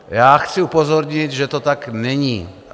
Já chci upozornit, že to tak není.